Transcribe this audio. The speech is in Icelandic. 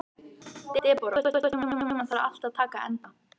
Debóra, einhvern tímann þarf allt að taka enda.